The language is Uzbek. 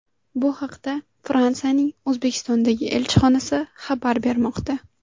Bu haqda Fransiyaning O‘zbekistondagi elchixonasi xabar bermoqda .